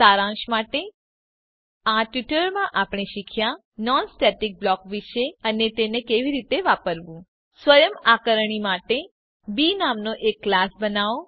સારાંશ માટે આ ટ્યુટોરીયલમાં આપણે શીખ્યા નોન સ્ટેટિક બ્લોક વિષે અને તેને કેવી રીતે વાપરવું સ્વયં આકારણી માટે બી નામનો એક ક્લાસ બનાવો